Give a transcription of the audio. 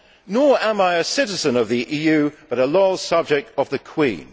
Nor am I a citizen of the EU, but a loyal subject of the Queen.